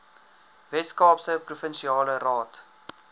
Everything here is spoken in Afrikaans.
weskaapse provinsiale raad